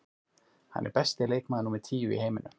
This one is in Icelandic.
Hann er besti leikmaður númer tíu í heiminum.